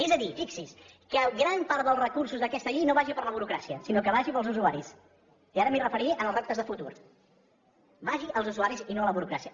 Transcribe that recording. és a dir fixi s’hi que gran part dels recursos d’aquesta llei no vagin per a la burocràcia sinó que vagin per als usuaris i ara m’hi referiré en els reptes de futur que vagi als usuaris i no a la burocràcia